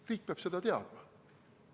Riik peab seda teadma.